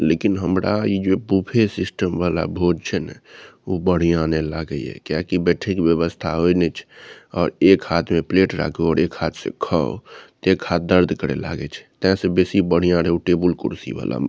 लेकिन हमरा इ जे बूफे सिस्टम वाला भोज छै ने उ बढ़िया ने लागे ये किया की बैठे के व्यवस्था होय ने छै और एक हाथ में प्लेट राखु और एक हाथ से खो ते एक हाथ दर्द करे लागे छै ते से बेसी बढ़िया रहे उ टेबल कुर्सी वाला।